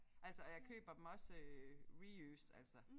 Altså og jeg køber dem også øh reused altså